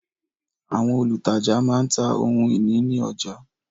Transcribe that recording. Àwọn olùtajà má ń ta ohun ìní ní ọjà